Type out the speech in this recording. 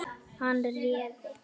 Hann réði.